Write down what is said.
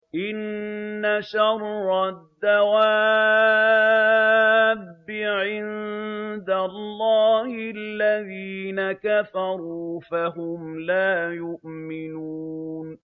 إِنَّ شَرَّ الدَّوَابِّ عِندَ اللَّهِ الَّذِينَ كَفَرُوا فَهُمْ لَا يُؤْمِنُونَ